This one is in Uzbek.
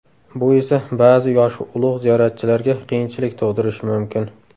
Bu esa ba’zi yoshi ulug‘ ziyoratchilarga qiyinchilik tug‘dirishi mumkin.